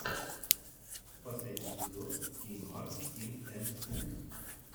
последний эпизод ти мар тин эн ту